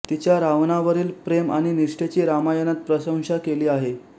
तिच्या रावणावरील प्रेम आणि निष्ठेची रामायणात प्रशंसा केली आहे